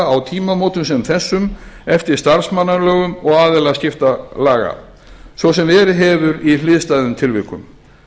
á tímamótum sem þessum eftir starfsmannalögum og aðilaskiptalaga svo sem verið hefur í hliðstæðum tilvikum